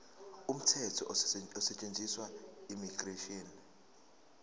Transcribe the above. umthetho osetshenziswayo immigration